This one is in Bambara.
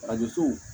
Arajo so